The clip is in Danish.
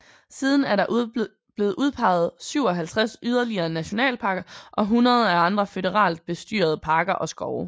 Siden er der blevet udpeget 57 yderligere nationalparker og hundreder af andre føderalt bestyrede parker og skove